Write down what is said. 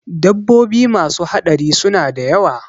Dabbobi masu haɗari suna da yawa